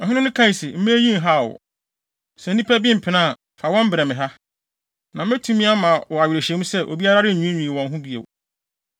Ɔhene no kae se, “Mma eyi nhaw wo. Sɛ nnipa bi mpene a, fa wɔn brɛ me wɔ ha. Na metumi ama wo awerehyɛmu sɛ, obiara renwiinwii wɔ ho bio.”